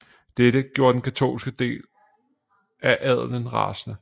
Dette gjorde den katolske del af adelen rasende